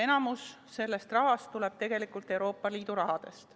Enamik sellest tuleb tegelikult Euroopa Liidu rahast.